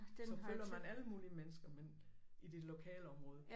Så følger man alle mulige mennesker men i det lokalområde